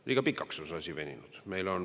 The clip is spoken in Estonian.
Liiga pikaks on see asi veninud.